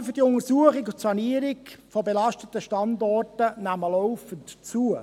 Die Kosten für die Untersuchung und Sanierung von belasteten Standorten nehmen laufend zu.